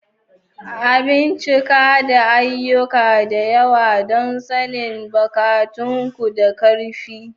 A bincika da ayyuka da yawa don sanin bukatunku da ƙarfi.